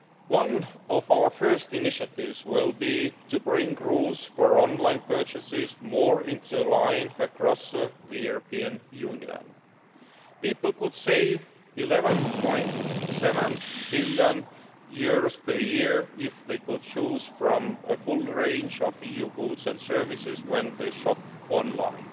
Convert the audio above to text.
One of our first initiatives will be to bring rules for online purchases more into line across the European Union. People could save EUR 11.7 billion per year if they could choose from a full range of EU goods and services when they shop online.